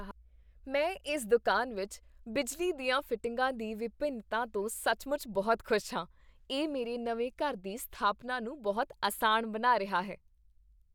ਮੈਂ ਇਸ ਦੁਕਾਨ ਵਿੱਚ ਬਿਜਲੀ ਦੀਆਂ ਫਿਟਿੰਗਾਂ ਦੀ ਵਿਭਿੰਨਤਾ ਤੋਂ ਸੱਚਮੁੱਚ ਬਹੁਤ ਖੁਸ਼ ਹਾਂ। ਇਹ ਮੇਰੇ ਨਵੇਂ ਘਰ ਦੀ ਸਥਾਪਨਾ ਨੂੰ ਬਹੁਤ ਅਸਾਨ ਬਣਾ ਰਿਹਾ ਹੈ।